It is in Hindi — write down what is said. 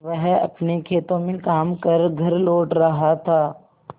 वह अपने खेतों में काम कर घर लौट रहा था